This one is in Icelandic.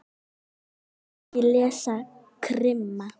Ég vil ekki lesa krimma.